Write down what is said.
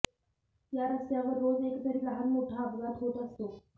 या रस्त्यावर रोज एकतरी लहान मोठा अपघात होत असतो